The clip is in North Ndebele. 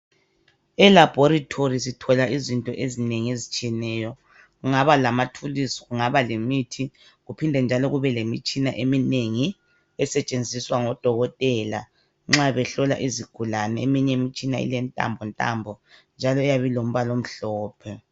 Elabhorithori sithola izinto ezinengi ezitshiyeneyo. Kungaba lamathulusi kungaba lemithi kuphinde njalo kubelemitshina eminengi esetshenziswa ngodokotela nxa behlola izigulane. Eminye imitshina ilentambontambo njalo iyabe ilombalomhlophe.